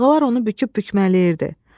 Dalğalar onu büküb-bükmələyirdi.